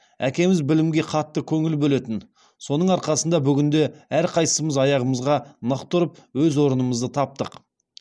әкеміз білімге қатты көңіл бөлетін соның арқасында бүгінде әрқайсымыз аяғымызға нық тұрып өз орнымызды таптық